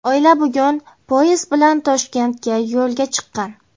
Oila bugun poyezd bilan Toshkentga yo‘lga chiqqan.